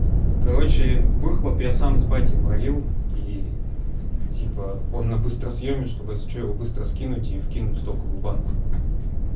короче выхлоп я сам с батей варил и типа он на быстросъеме чтобы если что его быстро скинуть его скинуть и кинуть в стоковую банку